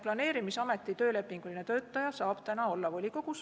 Planeerimisameti töölepinguline töötaja saab täna olla volikogus.